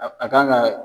A kan ka